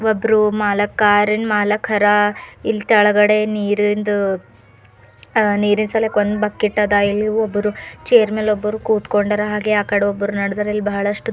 ಒಬ್ರು ಮಾಲ ಕಾರಿ ನ್ ಮಾಲಕರ ಇಲ್ ತೆಳಗಡೆ ನೀರಿಂದು ಆ ನೀರ್ ಇಳ್ಸಲಿಕ್ಕೆ ಒಂದ್ ಬಕಿಟ್ಟ ದ ಇಲ್ಲಿ ಒಬ್ರು ಚೇರ್ ಮೇಲೆ ಒಬ್ರು ಕೂತ್ಕೊಂಡರ ಹಾಗೆ ಆ ಕಡೆ ನಡ್ದರ ಇಲ್ ಬಹಳಷ್ಟು --